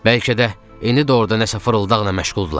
Bəlkə də, indi də orda nəsə fırıldaqla məşğuldurlar.